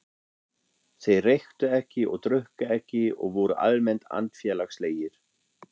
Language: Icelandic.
Þeir reyktu ekki og drukku ekki og voru almennt andfélagslegir.